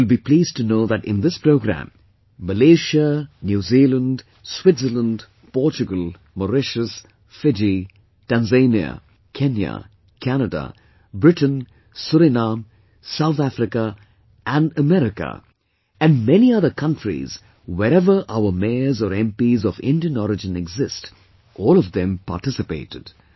You will be pleased to know that in this programme, Malaysia, New Zealand, Switzerland, Portugal, Mauritius, Fiji, Tanzania, Kenya, Canada, Britain, Surinam, South Africa and America, and many other countries wherever our Mayors or MPs of Indian Origin exist, all of them participated